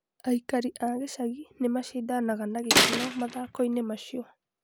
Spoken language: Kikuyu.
Aikari a gĩcagi nĩ macindanaga na gĩkeno mathako-inĩ macio.